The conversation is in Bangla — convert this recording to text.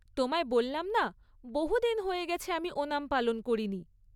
তোমায় বললাম না বহু দিন হয়ে গেছে আমি ওনাম পালন করিনি।